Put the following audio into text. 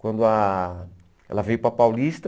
Quando ah ela veio para Paulista...